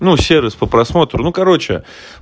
сервис по просмотру ну короче